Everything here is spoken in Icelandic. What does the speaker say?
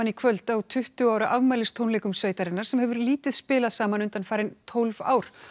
kvöld á tuttugu ára afmælistónleikum sveitarinnar sem hefur lítið spilað saman undanfarin tólf ár